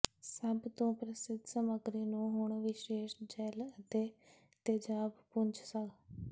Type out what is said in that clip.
ਸਭ ਤੋ ਪ੍ਰਸਿੱਧ ਸਮੱਗਰੀ ਨੂੰ ਹੁਣ ਵਿਸ਼ੇਸ਼ ਜੈੱਲ ਅਤੇ ਤੇਜਾਬ ਪੁੰਜ ਹਨ